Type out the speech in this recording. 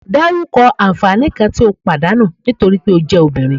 Daruko anfani kan ti o padanu nitori pe o je Obinrin